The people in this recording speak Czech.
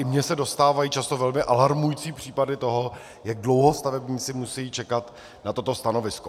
I mně se dostávají často velmi alarmující případy toho, jak dlouho stavebníci musejí čekat na toto stanovisko.